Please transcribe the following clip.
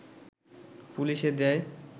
পুলিশে দেয়